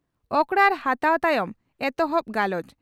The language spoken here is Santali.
ᱚᱠᱨᱟᱲ ᱦᱟᱛᱟᱣ ᱛᱟᱭᱚᱢ ᱮᱛᱚᱦᱚᱵ ᱜᱟᱞᱚᱪ